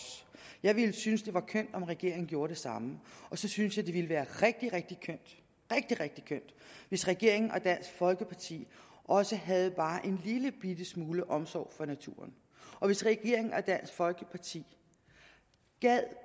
jeg ville synes det var kønt om regeringen gjorde det samme så synes jeg det ville være rigtig rigtig kønt hvis regeringen og dansk folkeparti også havde bare en lillebitte smule omsorg for naturen og hvis regeringen og dansk folkeparti